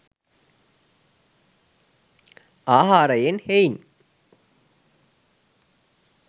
ආහාරයෙන් හෙයින්